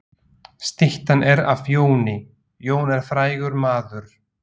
Styttan er af Jóni. Jón er frægur maður.